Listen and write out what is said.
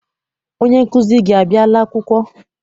Onye nkụzi gị abiala akwụkwọ?